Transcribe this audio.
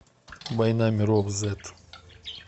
война миров зет